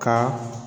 Ka